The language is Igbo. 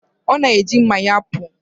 Ọ na-eji mma ya apụ.